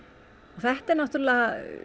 þetta er náttúrulega